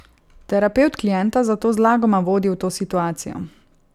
Terapevt klienta zato zlagoma vodi v to situacijo.